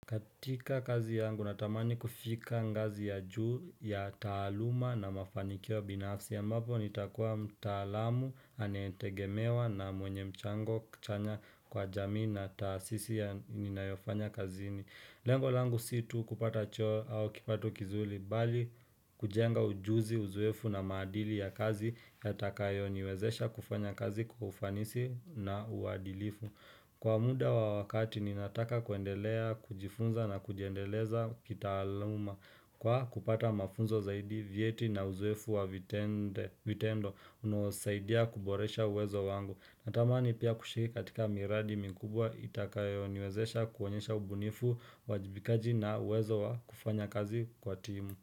Katika kazi yangu na tamani kufika ngazi ya juu ya taaluma na mafanikio ya binafsi ya mbapo nitakuwa mtaalamu anetegemewa na mwenye mchango chanya kwa jamii na tasisi ya ninayofanya kazini. Lengo langu situ kupata choo au kipato kizuri bali kujenga ujuzi uzoefu na maadili ya kazi yatakayo niwezesha kufanya kazi kwa ufanisi na uadilifu. Kwa muda wa wakati ninataka kuendelea, kujifunza na kujiendeleza kitaaluma Kwa kupata mafunzo zaidi vyeti na uzoefu wa viteende vitendo unaosaidia kuboresha uwezo wangu Natamani pia kushiriki katika miradi mikubwa itakayo niwezesha kuonyesha ubunifu, wajibikaji na uwezo wa kufanya kazi kwa timu.